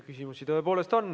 Küsimusi tõepoolest on.